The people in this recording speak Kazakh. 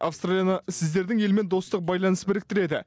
аустралияны сіздердің елмен достық байланыс біріктіреді